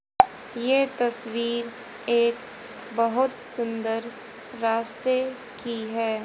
ये तस्वीर एक बहोत सुंदर रास्ते की है।